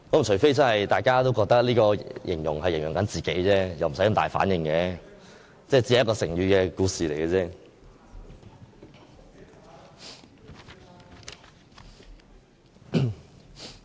除非大家都覺得這形容詞是在形容自己，否則無需有這麼大的反應，這只是成語故事。